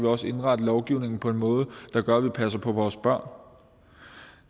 også indrette lovgivningen på en måde der gør at vi passer på vores børn